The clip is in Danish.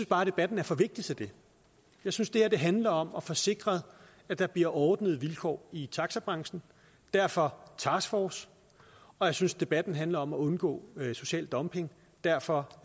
bare debatten er for vigtig til det jeg synes det her handler om at få sikret at der bliver ordnede vilkår i taxabranchen derfor task force og jeg synes debatten handler om at undgå social dumping derfor